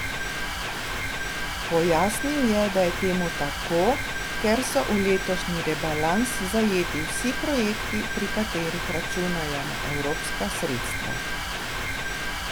Pojasnil je, da je temu tako, ker so v letošnji rebalans zajeti vsi projekti, pri katerih računajo na evropska sredstva.